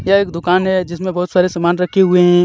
यह एक दूकान हे जिसमे बोहोत सारे सामान रखे हुए हे.